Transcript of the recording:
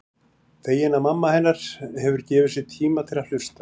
Fegin að mamma hennar hefur gefið sér tíma til að hlusta.